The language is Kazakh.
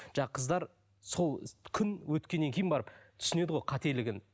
қыздар сол күн өткеннен кейін барып түсінеді ғой қателігін